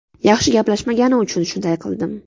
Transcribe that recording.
Yaxshi gaplashmagani uchun shunday qildim.